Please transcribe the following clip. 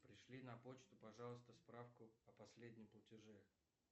пришли на почту пожалуйста справку о последнем платеже